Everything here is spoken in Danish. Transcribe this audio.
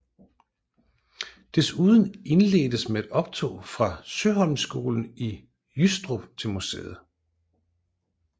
Desuden indledtes med et optog fra Søholmskolen i Jystrup til museet